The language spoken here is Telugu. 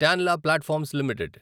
Tanla Platforms limited